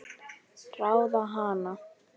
Ráða hana?